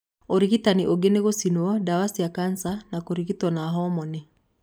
Ũrigitani ũngĩ nĩ gũcinwo, ndawa cia kanca kana kũrigitwo na homoni.